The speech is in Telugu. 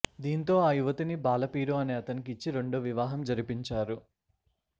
దీంతో ఆ యువతిని బాలపీరు అనే అతనికి ఇచ్చి రెండో వివాహం జరిపించారు